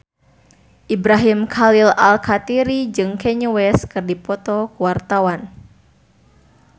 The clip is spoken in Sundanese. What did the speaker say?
Ibrahim Khalil Alkatiri jeung Kanye West keur dipoto ku wartawan